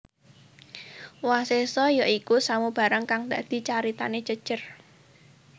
Wasésa ya iku samubarang kang dadi caritane jejer